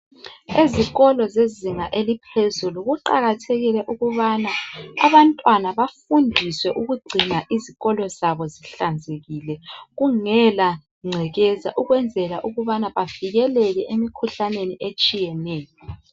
Ezikolo zezinga eliphezulu kuqakathekile ukubana abantwana bafundiswe ukugcina izikolo zabo zihlanzekile, kungela ngcekeza ukwenzela ukubana bavikeleke emikhuhlaneni etshiyeneyo.